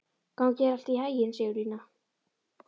Gangi þér allt í haginn, Sigurlína.